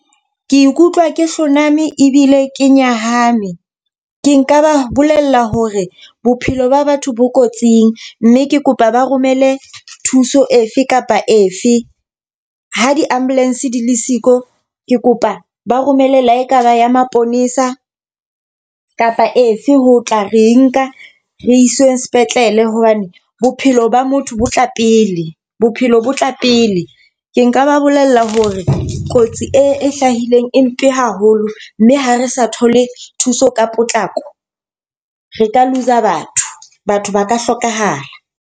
Ke ikutlwa ke hloname ebile ke nyahame. Ke nka ba bolella hore bophelo ba batho bo kotsing mme ke kopa ba romele thuso efe kapa efe. Ha di-ambulance di le siko, ke kopa ba romele la ekaba ya maponesa kapa efe ho tla re nka re iswe sepetlele hobane bophelo ba motho bo tla pele, bophelo bo tla pele. Ke nka ba bolella hore re kotsi e hlahileng e mpe haholo, mme ha re sa thole thuso ka potlako, re ka loose batho, batho ba ka hlokahala.